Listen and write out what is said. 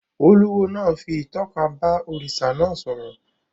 Olúwo náà fi ìtọ́ka bá òrìṣà náà sọ̀rọ̀